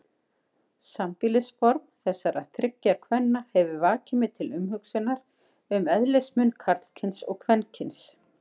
Sambýlisform þessara þriggja kvenna hefur vakið mig til umhugsunar um eðlismun karlkyns og kvenkyns.